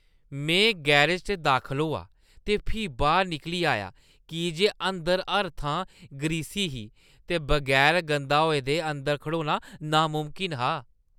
में गैरज च दाखल होआ ते फ्ही बाह्‌र निकली आया की जे अंदर हर थां ग्रीसी ही ते बगैर गंदे होए दे अंदर खड़ोना नामुमकन हा।